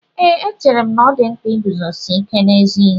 Ee, echere m na ọ dị mkpa iguzosi ike n'ezi ihe